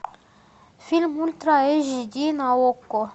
фильм ультра эйч ди на окко